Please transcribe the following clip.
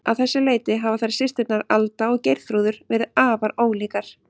Að þessu leyti hafa þær systurnar, Alda og Geirþrúður, verið afar ólíkar.